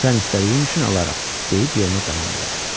Amma sən istədiyin üçün alaram, deyib yoluna davam elədi.